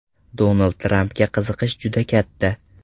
Donald Trampga qiziqish juda katta.